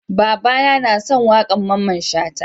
Baba na son waƙan Mamman Shata